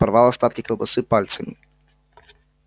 порвал остатки колбасы пальцами